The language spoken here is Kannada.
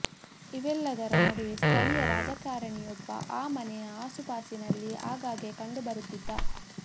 ಇವೆಲ್ಲದರ ನಡುವೆ ಸ್ಥಳೀಯ ರಾಜಕಾರಣಿಯೊಬ್ಬ ಆ ಮನೆಯ ಆಸುಪಾಸಿನಲ್ಲಿ ಆಗಾಗ್ಗೆ ಕಂಡು ಬರುತ್ತಿದ್ದ